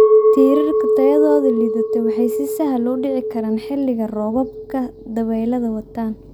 Tiirarka tayadoodu liidato waxay si sahal ah u dhici karaan xilliga roobabka dabaylaha wataan.